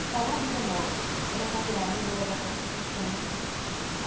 O salão vida nova era para tirar a mulher da prostituição.